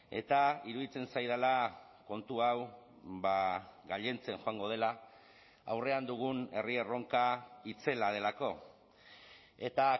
eta iruditzen zaidala kontu hau gailentzen joango dela aurrean dugun herri erronka itzela delako eta